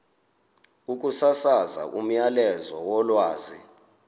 ukusasaza umyalezo wolwazi